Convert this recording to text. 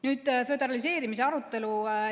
Nüüd, föderaliseerimise arutelu.